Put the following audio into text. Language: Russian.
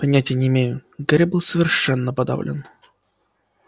понятия не имею гарри был совершенно подавлен